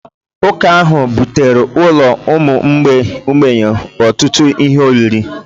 Ụka ahụ butere ụlọ ụmụ mgbei ọtụtụ ihe oriri